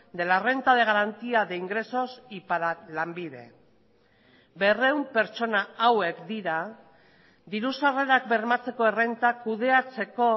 de la renta de garantía de ingresos y para lanbide berrehun pertsona hauek dira diru sarrerak bermatzeko errenta kudeatzeko